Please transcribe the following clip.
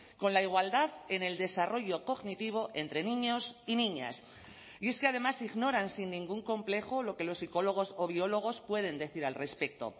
con la igualdad en el desarrollo cognitivo entre niños y niñas y es que además ignoran sin ningún complejo lo que los psicólogos o biólogos pueden decir al respecto